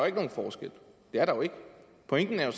ikke nogen forskel det er der jo ikke pointen er jo